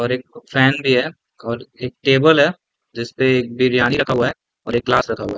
--और एक फैन भी है और एक टेबल है जिसपे बिरियानी रखा हुआ है हुए एक ग्लास रखा हुआ है।